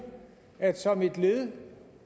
at som et led